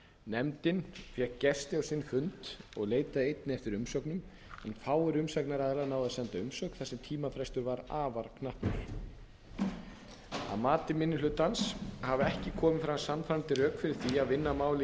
nefndin fékk gesti á sinn fund og leitaði einnig eftir umsögnum en fáir umsagnaraðilar náðu að senda umsögn þar sem tímafrestur var afar knappur að mati minni hlutans hafa ekki komið fram sannfærandi rök fyrir því að vinna málið í